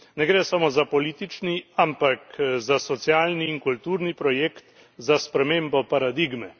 Ne gre samo za politični, ampak za socialni in kulturni projekt, za spremembo paradigme.